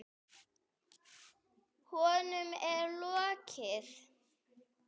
Honum er lokið!